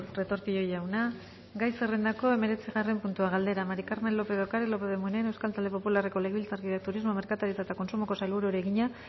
retortillo jauna gai zerrendako hemeretzigarren puntua galdera maría del carmen lópez de ocariz lópez de munain euskal talde popularreko legebiltzarkideak turismo merkataritza eta kontsumoko sailburuari egina